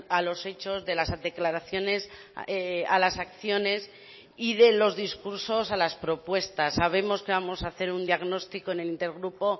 a los hechos de las declaraciones a las acciones y de los discursos a las propuestas sabemos que vamos a hacer un diagnóstico en el intergrupo